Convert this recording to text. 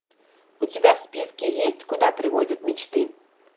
у тебя в списке есть куда приводят мечты